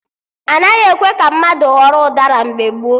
Anaghị ekwe ka mmadụ ghọrọ ụdara mgbe gboo